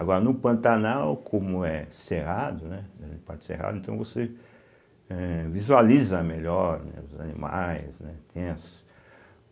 Agora, no Pantanal, como é cerrado, né, parte cerrado, então você eh visualiza melhor né os animais, né tem as .